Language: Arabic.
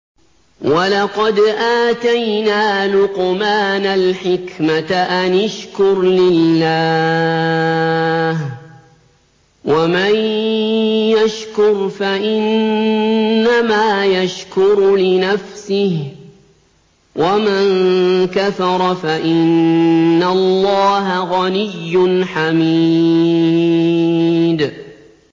وَلَقَدْ آتَيْنَا لُقْمَانَ الْحِكْمَةَ أَنِ اشْكُرْ لِلَّهِ ۚ وَمَن يَشْكُرْ فَإِنَّمَا يَشْكُرُ لِنَفْسِهِ ۖ وَمَن كَفَرَ فَإِنَّ اللَّهَ غَنِيٌّ حَمِيدٌ